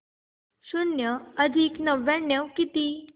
शून्य अधिक नव्याण्णव किती